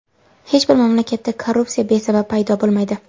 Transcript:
Hech bir mamlakatda korrupsiya besabab paydo bo‘lmaydi.